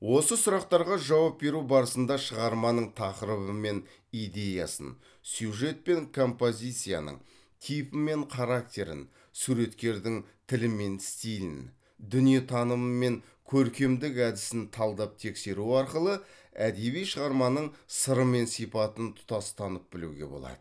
осы сұрақтарға жауап беру барысында шығарманың тақырыбы мен идеясын сюжет пен композицияның типі мен характерін суреткердің тілі мен стилін дүниетанымы мен көркемдік әдісін талдап тексеру арқылы әдеби шығарманың сыры мен сипатын тұтас танып білуге болады